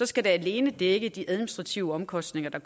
skal det alene dække de administrative omkostninger der